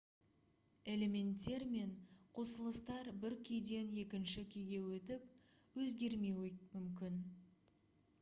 элементтер мен қосылыстар бір күйден екінші күйге өтіп өзгермеуі мүмкін